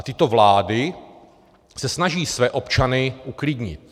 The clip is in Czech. A tyto vlády se snaží své občany uklidnit.